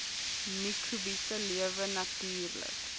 mikrobiese lewe natuurlik